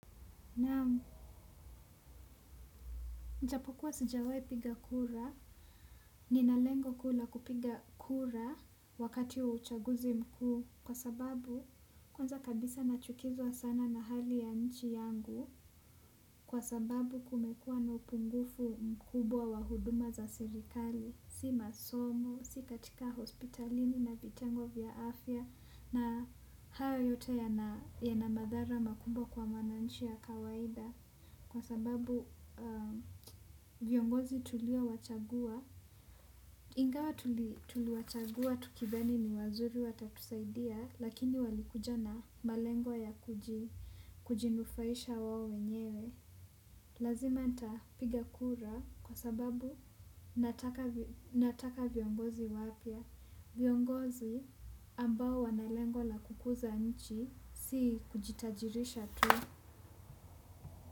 Naam, ijapokuwa sijawahi piga kura, nina lengo kuu la kupiga kura wakati wa uchaguzi mkuu kwa sababu kwanza kabisa nachukizwa sana na hali ya nchi yangu kwa sababu kumekuwa na upungufu mkubwa wa huduma za serikali. Si masomo, si katika hospitalini na vitengo vya afya. Na hayo yote yana madhara makubwa kwa mwananchi wa kawaida kwa sababu viongozi tuliowachagua, ingawa tuli tuliwachagua tukidhani ni wazuri watatusaidia, lakini walikuja na malengo ya kujinufaisha wao wenyewe. Lazima nitapiga kura kwa sababu nataka viongozi wapya. Viongozi ambao wana lengo la kukuza nchi si kujitajirisha tu.